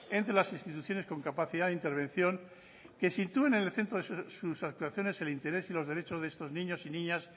entre las instituciones con capacidad de intervención que sitúen en el centro de sus actuaciones el interés y los derechos de estos niños y niñas